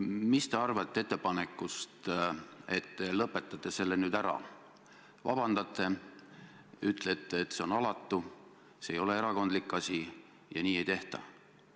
Mis te arvate ettepanekust, et te lõpetate selle nüüd ära, vabandate, ütlete, et see on alatu, see ei ole erakondlik asi ja nii ei tehta?